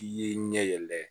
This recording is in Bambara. I ye ɲɛ yɛlɛ